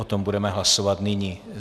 O tom budeme hlasovat nyní.